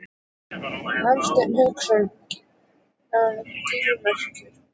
Hafsteinn Hauksson: Glimmerinu?